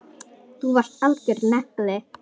Þú varst algjör nagli.